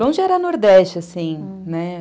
Longe era Nordeste, assim, né?